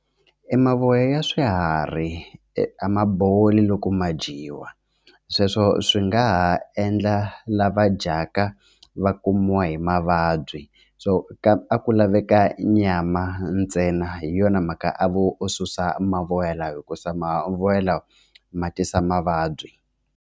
E mavoya ya swiharhi a ma boli loko ma dyiwa sweswo swi nga ha endla lava dyaka va kumiwa hi mavabyi so a ku laveka nyama ntsena hi yona mhaka a vo susa mavonelo hikusa mavoya lama ma tisa mavabyi.